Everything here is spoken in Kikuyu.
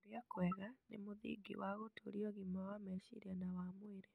Kũrĩa kwega nĩ mũthingi wa gũtũũria ũgima wa meciria na wa mwĩrĩ.